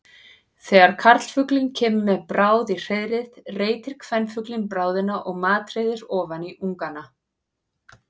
Þegar karlfuglinn kemur með bráð í hreiðrið reitir kvenfuglinn bráðina og matreiðir ofan í ungana.